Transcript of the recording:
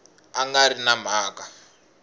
a nga ri na mhaka